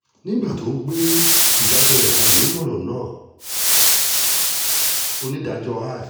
nígbà tó ń gbé ìdájọ́ rẹ̀ kalẹ̀ lórí ọ̀rọ̀ náà onídàájọ́